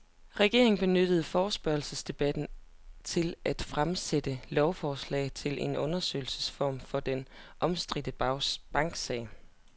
Regeringen benyttede forespørgselsdebatten til at fremsætte lovforslag til en undersøgelsesform for den omstridte banksag.